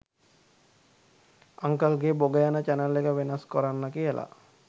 අංකල්ගේ බොග යන චැනල් එක වෙනස් කොරන්න කියලා